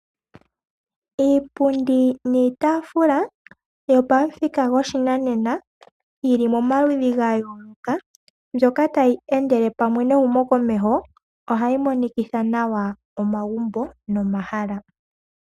Iipundi niitaafula yopamuthika goshinanena yili momaludhi ga yooloka mbyoka tayi endele pamwe nehumo komeho ohayi monikitha nawa omagumbo momahala.